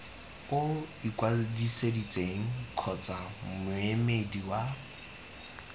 o ikwadisitseng kgotsa moemedi wa